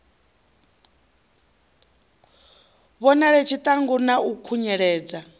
vhonale tshiṱangu na u khunyeledza